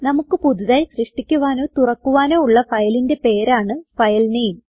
നമുക്ക് പുതുതായി സൃഷ്ടിക്കുവനോ തുറക്കുവാനോ ഉള്ള ഫയലിന്റെ പേരാണ് ഫൈൽ നാമെ